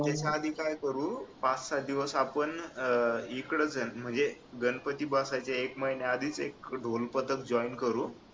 जाण्याआधी काय करू पाच सहा दिवस इकडचं आपण म्हणजे गणपती बसायच्या एक महिन्या आधीच एक ढोलपथक join करू